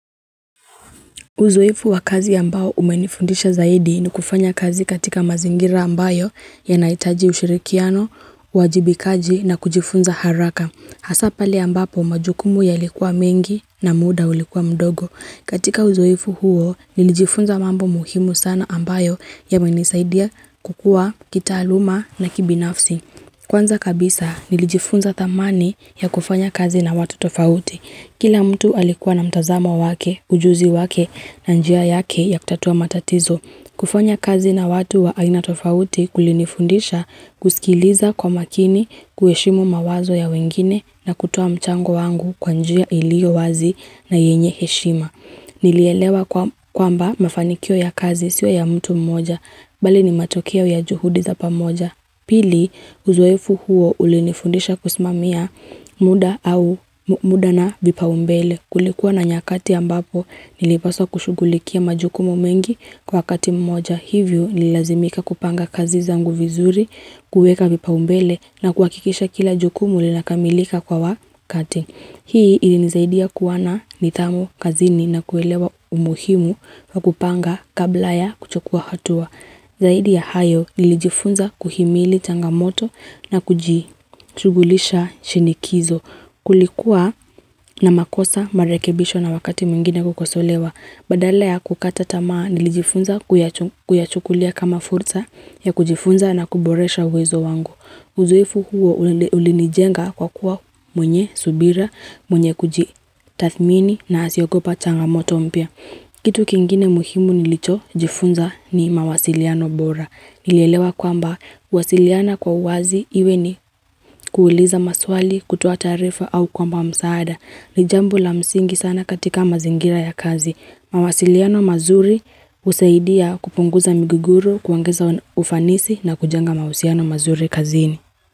Uzoefu wa kazi ya mbao umenifundisha zaidi ni kufanya kazi katika mazingira ambayo ya naitaji ushirikiano, wajibikaji na kujifunza haraka. Hasapali ambapo majukumu ya likuwa mengi na muda ulikuwa mdogo. Katika uzoefu huo nilijifunza mambo muhimu sana ambayo ya menisaidia kukua, kita aluma na kibi nafsi. Kwanza kabisa nilijifunza tamani ya kufanya kazi na watu tofauti. Kila mtu alikuwa na mtazama wake, ujuzi wake na njia yake ya kutatua matatizo. Kufanya kazi na watu wa aina tofauti kulinifundisha kusikiliza kwa makini, kueshimu mawazo ya wengine na kutua mchango wangu kwa njia ilio wazi na yenye heshima. Nilielewa kwamba mafanikio ya kazi siwa ya mtu mmoja, bali ni matokia ya juhudi za pamoja. Pili, uzoefu huo ulinifundisha kusimamia muda na vipaumbele kulikuwa na nyakati ambapo nilipaswa kushughulikia majukumu mengi kwa kati mmoja. Hivyo nilazimika kupanga kazi zangu vizuri, kueka vipa umbele na kwa kikisha kila jukumu lina kamilika kwa wakati. Hii ilinizaidia kuwana nitamu kazini na kuelewa umuhimu wa kupanga kabla ya kuchokuwa hatua. Zaidi ya hayo nilijifunza kuhimili tangamoto na kujigulisha shinikizo kulikuwa na makosa marekebisho na wakati mungine kukosolewa. Badala ya kukata tamaa nilijifunza kuyachukulia kama fursa ya kujifunza na kuboresha wezo wangu. Uzuefu huo ulinijenga kwa kuwa mwenye, subira, mwenye kuji tathmini na asiokopa tanga moto mpia. Kitu kingine muhimu nilicho jifunza ni mawasiliano bora. Nilelewa kwamba wasiliana kwa wazi iwe ni kuuliza maswali, kutoa tarifa au kwamba msaada. Nijambu la msingi sana katika mazingira ya kazi. Mawasiliano mazuri usaidia kupunguza miguguro kuangeza ufanisi na kujanga mausiano mazuri kazini.